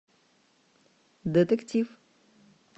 детектив